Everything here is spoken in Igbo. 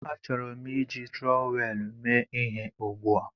Achọrọ m iji trọwel mee ihe ugbu a